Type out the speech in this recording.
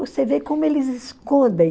Você vê como eles escondem.